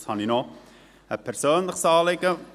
Jetzt habe ich noch ein persönliches Anliegen.